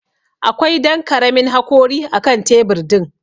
Akwai Dan karamin hakori akan tebur din.